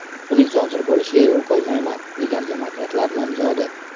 Buning sodir bo‘lishiga yo‘l qo‘ymayman”, – degan demokratlar nomzodi.